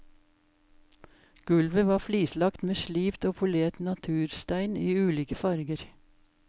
Gulvet var flislagt med slipt og polert naturstein i ulike farger.